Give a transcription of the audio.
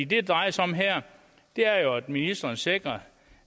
det drejer sig om her er jo at ministeren sikrer